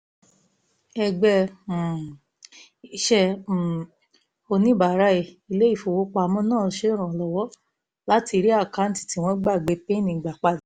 ẹgbẹ́ um iṣẹ́ um oníbàárà ilé ìfowópamọ́ náà ń ṣèrànwọ́ láti rí àkáǹtì tí wọ́n gbàgbé pin gbà padà